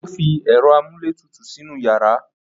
O fi ẹ̀rọ amúlétutù sínú yàrá.